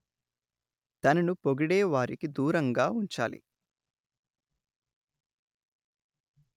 తనను పొగిడే వారిని దూరంగా ఉంచాలి